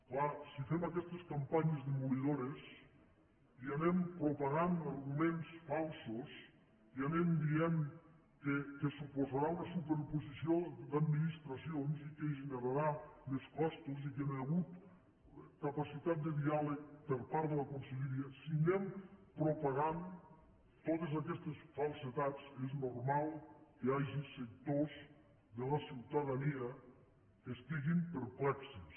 clar si fem aquestes campanyes demolidores i anem propagant arguments falsos i anem dient que suposarà una superposició d’administracions i que generarà més costos i que no hi ha hagut capacitat de diàleg per part de la conselleria si anem propagant totes aquestes falsedats és normal que hi hagi sectors de la ciutadania que estiguin perplexos